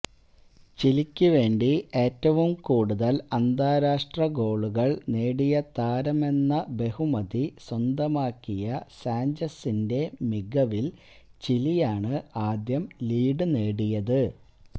ചിലിക്കുവേണ്ടി ഏറ്റവും കൂടുതല് അന്താരാഷ്ട്ര ഗോളുകള് നേടിയ താരമെന്ന ബഹുമതി സ്വന്തമാക്കിയ സാഞ്ചസിന്റെ മികവില് ചിലിയാണ് ആദ്യം ലീഡ് നേടിയത്